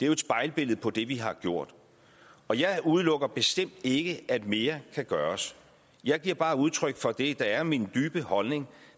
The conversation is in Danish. jo et spejlbillede på det vi har gjort og jeg udelukker bestemt ikke at mere kan gøres jeg giver bare udtryk for det der er min dybe holdning